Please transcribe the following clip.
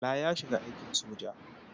Bala ya shiga aikin soja.